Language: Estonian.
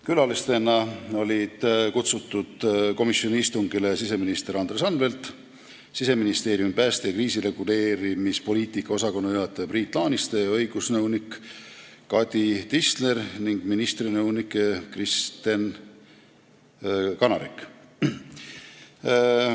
Külalistena olid komisjoni istungile kutsutud siseminister Andres Anvelt, Siseministeeriumi pääste- ja kriisireguleerimispoliitika osakonna juhataja Priit Laaniste ja õigusnõunik Kadi Tisler ning ministri nõunik Kristen Kanarik.